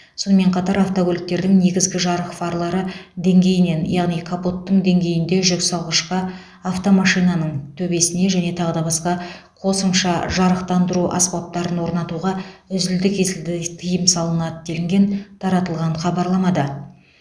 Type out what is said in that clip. сонымен қатар автокөліктердің негізгі жарық фарлары деңгейінен яғни капоттың деңгейінде жүксалғышқа автомашинаның төбесіне және тағы басқа қосымша жарықтандыру аспаптарын орнатуға үзілді кесілді тыйым салынады делінген таратылған хабарламада